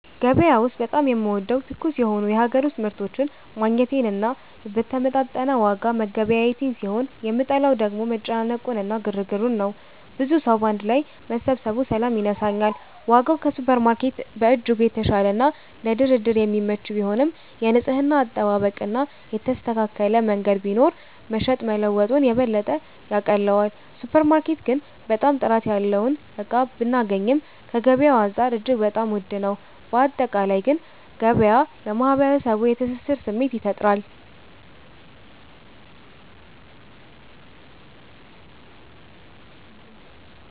ገበያ ውስጥ በጣም የምወደው ትኩስ የሆኑ የሀገር ውስጥ ምርቶችን ማግኘቴን እና በተመጣጠነ ዋጋ መገበያየቴን ሲሆን የምጠላው ደግሞ መጨናነቁ እና ግርግሩን ነው። ብዙ ሰዉ ባንድ ላይ መሰባሰቡ ሰላም ይነሳኛል። ዋጋው ከሱፐርማርኬት በእጅጉ የተሻለና ለድርድር የሚመች ቢሆንም፣ የንጽህና አጠባበቅ እና የተስተካከለ መንገድ ቢኖር መሸጥ መለወጡን የበለጠ ያቀለዋል። ሱፐር ማርኬት ግን በጣም ጥራት ያለውን እቃ ብናገኚም ከገበያዉ አንፃር እጅግ በጣም ዉድ ነው። ባጠቃላይ ግን ገበያ ለማህበረሰቡ የትስስር ስሜት ይፈጥራል።